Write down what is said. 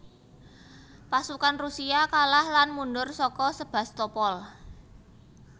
Pasukan Rusia kalah lan mundhur saka Sebastopol